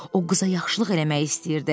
O qıza yaxşılıq eləmək istəyirdi.